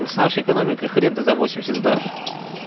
с нашей экономикой хрен ты за восемьдесят сдашь